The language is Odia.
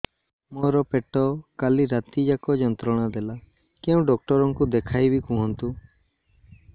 ମୋର ପେଟ କାଲି ରାତି ଯାକ ଯନ୍ତ୍ରଣା ଦେଲା କେଉଁ ଡକ୍ଟର ଙ୍କୁ ଦେଖାଇବି କୁହନ୍ତ